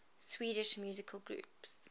swedish musical groups